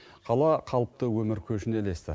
қала қалыпты өмір көшіне ілесті